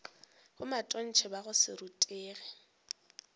bomatontshe ba go se rutege